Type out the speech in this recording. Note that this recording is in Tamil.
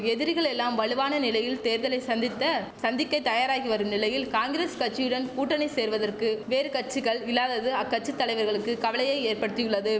எதிரிகள் எல்லாம் வலுவான நிலையில் தேர்தலை சந்தித்த சந்திக்க தயாராகி வரும் நிலையில் காங்கிரஸ் கச்சியுடன் கூட்டணி சேர்வதற்கு வேறு கச்சிகள் இல்லாதது அக்கச்சி தலைவர்களுக்கு கவலையை ஏற்படுத்தியுள்ளது